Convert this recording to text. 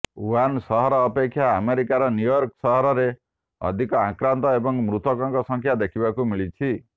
Wuhan ସହର ଅପେକ୍ଷା ଆମେରିକାର ନ୍ୟୁୟର୍କ ସହରରେ ଅଧିକ ଆକ୍ରାନ୍ତ ଏବଂ ମୃତକଙ୍କ ସଂଖ୍ୟା ଦେଖିବାକୁ ମିଳିଛି